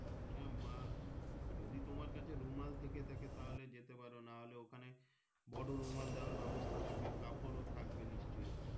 আহ মা যদি তোমার কাছে রুমাল থেকে থাকে তাহলে যেতে পারো ওখানে বড়ো রুমাল দেওয়ার ব্যবস্থা থাকবে কাপড় থাকবে নিশ্চয়।